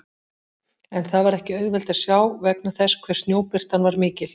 En það var ekki auðvelt að sjá vegna þess hve snjóbirtan var mikil.